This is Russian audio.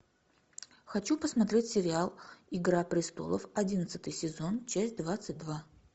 хочу посмотреть сериал игра престолов одиннадцатый сезон часть двадцать два